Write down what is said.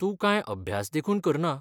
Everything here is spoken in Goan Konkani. तूं कांय अभ्यास देखून करना.